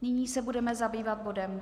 Nyní se budeme zabývat bodem